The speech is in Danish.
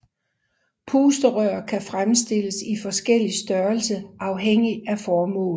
Pusterør kan fremstilles i forskellig størrelse afhængig af formål